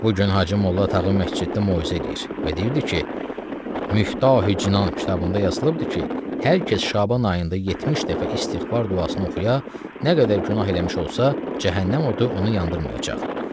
Bu gün Hacı Molla Tağı məsciddə moizə eləyir və deyirdi ki, Miftahı Cinan kitabında yazılıbdır ki, hər kəs Şaban ayında 70 dəfə istiğfar duasını oxuya, nə qədər günah eləmiş olsa, cəhənnəm odu onu yandırmayacaq.